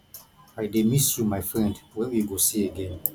i dey miss you my friend when we go see again